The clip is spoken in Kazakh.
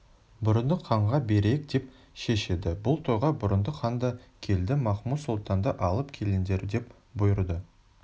бұрындық ханға берейік деп шешеді бұл тойға бұрындық хан да келді махмуд-сұлтанды алып келіңдер деп бұйырды